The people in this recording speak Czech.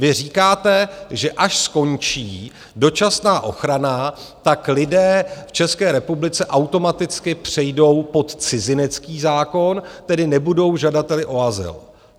Vy říkáte, že až skončí dočasná ochrana, tak lidé v České republice automaticky přejdou pod cizinecký zákon, tedy nebudou žadateli o azyl.